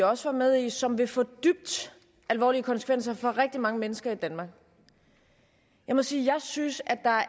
også var med i som vil få dybt alvorlige konsekvenser for rigtig mange mennesker i danmark jeg må sige jeg synes at der